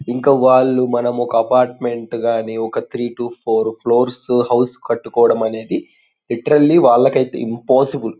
ఇంకా వాళ్ళు మనము ఒక అపార్ట్మెంట్ కానీ ఒక three two four floors house కట్టుకోవడమనేది లిట్రేల్లి వాళ్లకయితే ఇంపాసిబుల్ .